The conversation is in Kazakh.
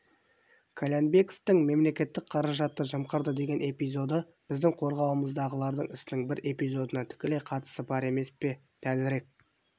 қальянбековтің мемлекеттік қаражатты жымқырды деген эпизодыбіздің қорғауымыздағылардың ісінің бір эпизодына тікелей қатысы бар емес пе дәлірек